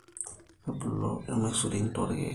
Kebulu irmasurin torkeek